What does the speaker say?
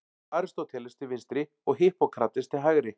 Aristóteles til vinstri og Hippókrates til hægri.